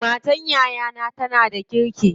Matar yayana tana da kirki.